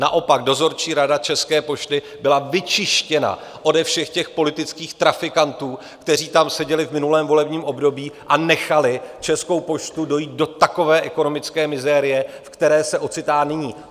Naopak Dozorčí rada České pošty byla vyčištěna ode všech těch politických trafikantů, kteří tam seděli v minulém volebním období a nechali Českou poštu dojít do takové ekonomické mizérie, v které se ocitá nyní.